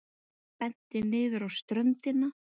Benti niður á ströndina.